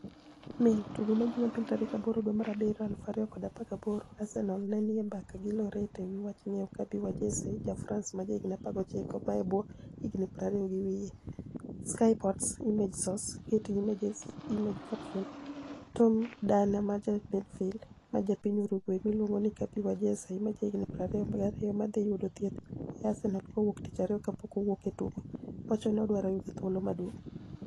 (Mail) Tugo majupil 08.07.2018 Arsenial ni e nii e mbaka gi Loriet e wi wach nig'iewo Kabi Wajesei, ja Franice ma jahignii 19 mae ebwo hignii 20 gi wiye. (Sky Sports) Image source, Getty Images Image captioni, Tom Dani maja midfiel ma ja piniy Uruguay miluonigo nii Kabi Wajesei ma jahignii 22 ma dhi yudo thieth e Arsenial kawuono Tich ariyo kapok owuok e tugo, wacho nii odwaro yudo thuolo maduonig'.